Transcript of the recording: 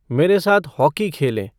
मेरे साथ हॉकी खेले